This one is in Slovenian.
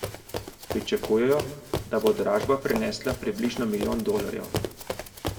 Pričakujejo, da bo dražba prinesla približno milijon dolarjev.